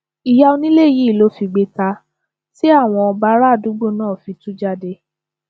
ìyá onílé yìí ló figbe ta tí àwọn bárààdúgbò náà fi tú jáde